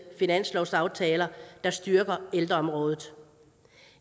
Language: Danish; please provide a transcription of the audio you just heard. finanslovsaftaler der styrker ældreområdet